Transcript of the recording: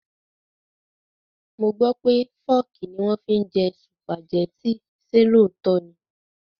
Mo gbó pé Fọ́ọ́kì ni wọ́n fi ń jẹ Sùpàgẹ́tì, ṣe òótọ́ ni?